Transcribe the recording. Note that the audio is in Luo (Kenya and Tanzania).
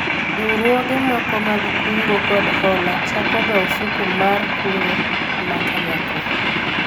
riwruoge moko mag kungo kod hola chako ga ofuku mar kungo ma kanyakla